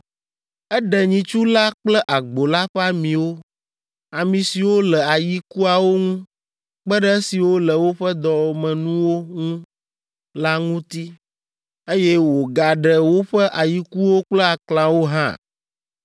Eɖe nyitsu la kple agbo la ƒe amiwo, ami siwo le ayikuawo ŋu kpe ɖe esiwo le woƒe dɔmenuwo ŋu la ŋuti, eye wògaɖe woƒe ayikuwo kple aklãwo hã.